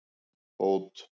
Bót